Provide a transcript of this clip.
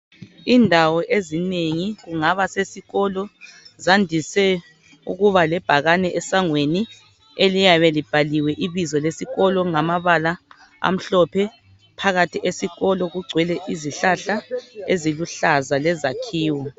Indawo ezinengi kungaba sesikolo zandise ukuba lebhakani esangweni okuyabe kubhalwe ibizo lesikolo. ngamabala amhlophe. Phakathi esikolo kugcwele izihlahla eziluhlaza lezakhiwo.